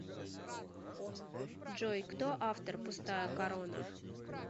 джой кто автор пустая корона